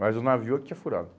Mas o navio é o que tinha furado.